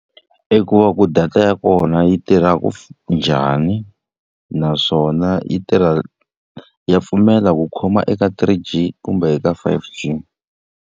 I ku va ku data ya kona yi tirhaka njhani, naswona yi tirha ya pfumela ku khoma eka three G kumbe eka five G.